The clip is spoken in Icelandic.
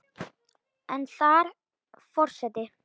en þar Forseti